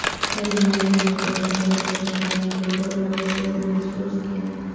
پر معیاری model run کے دوران گیندوں اور شور محسوس کیا